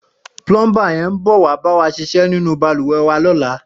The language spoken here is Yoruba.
Plọmbá yèn bọ̀wá ṣisẹ̀ ninú bàlúwẹ̀ wà lọ̀lá